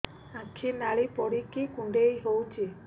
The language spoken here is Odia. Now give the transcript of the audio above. ଆଖି ନାଲି ପଡିକି କୁଣ୍ଡେଇ ହଉଛି